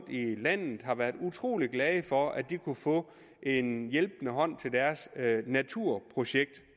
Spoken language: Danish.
i landet har været utrolig glade for at de kunne få en hjælpende hånd til deres naturprojekt